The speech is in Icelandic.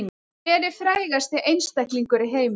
Hver er frægasti einstaklingur í heimi